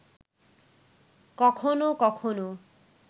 কখনো কখনো